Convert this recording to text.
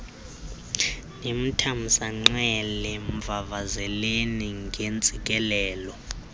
nimthamsanqele mvavazeleni ngeentsikelelo